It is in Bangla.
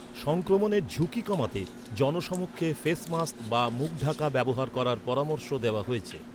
সংক্রমণের ঝুঁকি কমাতে জনসমক্ষে ফেস মাস্ক বা মুখ ঢাকা ব্যবহার করার পরামর্শ দেওয়া হয়েছে।